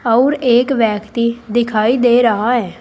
और एक व्यक्ति दिखाई दे रहा है।